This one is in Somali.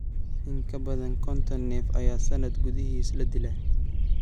In ka badan konton neef ayaa sannad gudihiis la dilaa.